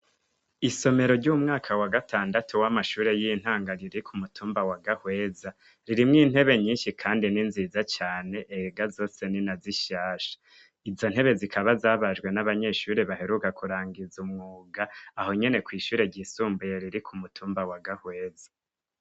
Isomero ry'umwaka wa gatandatu w'amashure y'intango riri ku mutumba wa Gahweza, ririmwo intebe nyinshi kandi ni nziza cane, umenga zose ni nka zishasha. Izo ntebe zikaba zabajwe n'abanyeshure baheruka kurangiza umwuga, aho nyene kw'ishure ryisumbuye riri ku mutumba wa Gahweza.